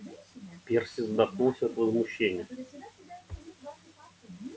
перси задохнулся от возмущения